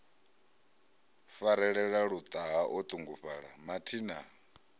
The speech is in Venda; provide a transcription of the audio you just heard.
farelela luṱaha o ṱungufhala mathina